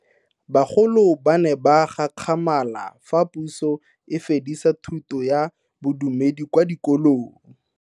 Bagolo ba ne ba gakgamala fa Puso e fedisa thuto ya Bodumedi kwa dikolong.